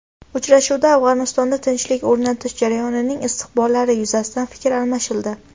Uchrashuvda Afg‘onistonda tinchlik o‘rnatish jarayonining istiqbollari yuzasidan fikr almashildi.